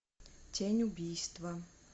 тень убийства